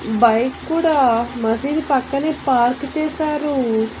Bike కూడా మసీదు పక్కనే పార్కు చేశారు.